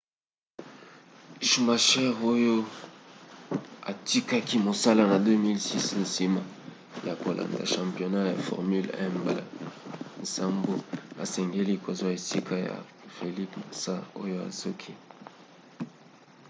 schumacher oyo atikaki mosala na 2006 nsima ya kolanda championnat ya formule 1 mbala nsambo asengeli kozwa esika ya felipe massa oyo azoki